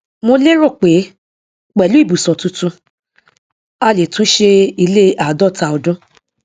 mo lérò pé pẹlú ibùsọ tuntun a lè túnṣe ilé àádọta ọdún